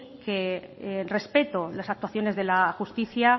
que respeto las actuaciones de la justicia